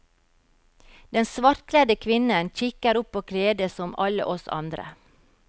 Den svartkledde kvinnen kikker opp på kledet som alle oss andre.